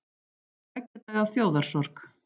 Tveggja daga þjóðarsorg